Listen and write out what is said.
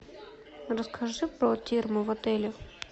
расскажи про термы в отеле